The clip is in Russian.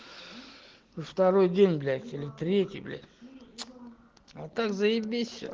второй день блять или третий блять а так заебись все